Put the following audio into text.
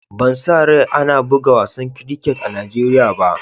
Ban sa rai ana bugan wasan kriket a Nijeriya ba.